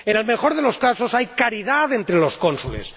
En el mejor de los casos, hay caridad entre los cónsules.